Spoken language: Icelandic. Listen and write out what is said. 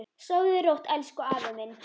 Sofðu rótt elsku afi minn.